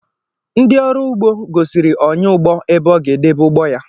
Ndị ọrụ ugbo gosiri ọnyáụgbọ ebe ọ ga edebe ụgbọ ya